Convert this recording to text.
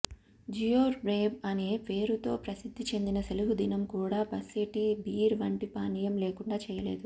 జియోర్హౌబ్ అనే పేరుతో ప్రసిద్ధి చెందిన సెలవుదినం కూడా ఒస్సేటీ బీర్ వంటి పానీయం లేకుండా చేయలేదు